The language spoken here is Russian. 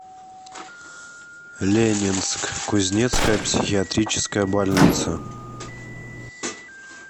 ленинск кузнецкая психиатрическая больница